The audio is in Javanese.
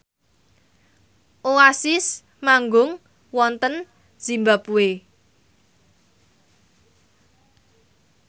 Oasis manggung wonten zimbabwe